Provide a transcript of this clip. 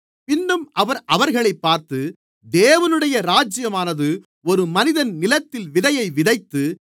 பின்னும் அவர் அவர்களைப் பார்த்து தேவனுடைய ராஜ்யமானது ஒரு மனிதன் நிலத்தில் விதையை விதைத்து